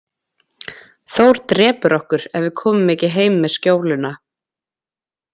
Þór drepur okkur ef við komum ekki heim með skjóluna.